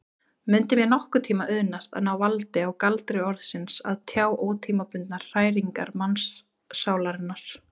Mundi mér nokkurntíma auðnast að ná valdi á galdri orðsins og tjá ótímabundnar hræringar mannssálarinnar?